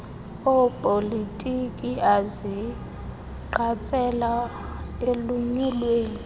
opolitiko azigqatsela elunyulweni